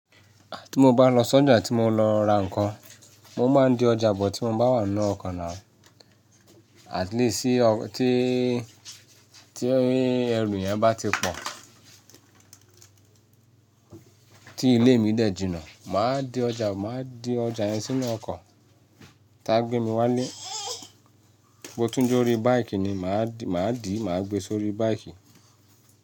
Tí mo bá lọ sọ́jà tí mo lọ ra nǹkan, mo máa ń di ọjà bọ̀ tí mo bá wà n nu oko nà, at least tí, tí ẹrù eyan bá ti pọ̀ tí ilé mi dẹ̀ jìnnà, màá di ọjà, màá di ọjà yẹn sínú ọkọ̀, tá a gbé mi wálé, bó tún jó ori baìki ni,.màá dì, màá gbe sórí báikì.